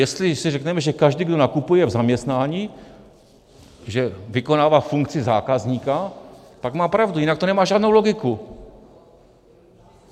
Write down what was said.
Jestli si řekneme, že každý, kdo nakupuje v zaměstnání, že vykonává funkci zákazníka, pak má pravdu, jinak to nemá žádnou logiku.